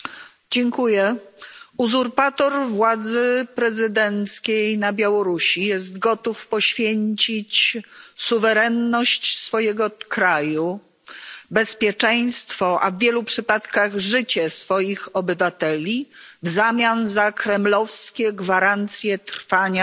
Panie Przewodniczący! Uzurpator władzy prezydenckiej na Białorusi jest gotów poświęcić suwerenność swojego kraju, bezpieczeństwo a w wielu przypadkach życie swoich obywateli w zamian za kremlowskie gwarancje trwania